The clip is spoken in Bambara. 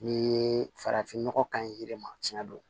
N'i ye farafin nɔgɔ ka ɲi yiri ma tiɲɛ don